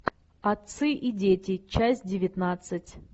отцы и дети часть девятнадцать